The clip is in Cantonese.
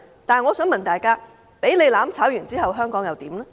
但是，我想問大家，香港被"攬炒"後，香港會如何？